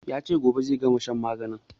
Ya ce gobe zai gama shan maganin